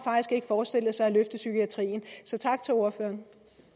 forestillet sig at løfte psykiatrien så tak til ordføreren